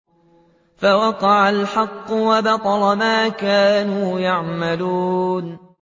فَوَقَعَ الْحَقُّ وَبَطَلَ مَا كَانُوا يَعْمَلُونَ